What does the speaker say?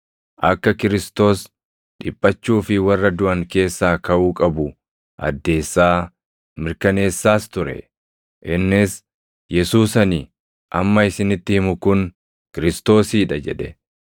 akka Kiristoos + 17:3 yookaan Masiihichi dhiphachuu fi warra duʼan keessaa kaʼuu qabu addeessaa, mirkaneessaas ture. Innis, “Yesuus ani amma isinitti himu kun Kiristoosii dha” jedhe.